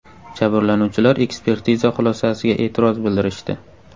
Jabrlanuvchilar ekspertiza xulosasiga e’tiroz bildirishdi.